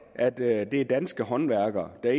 at det er danske håndværkere der